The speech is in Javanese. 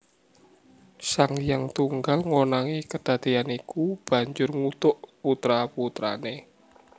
Sang Hyang Tunggal ngonangi kedadéyan iku banjur ngutuk putra putrané